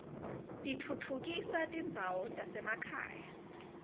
titfutfukisa tindzawo tasemakhaya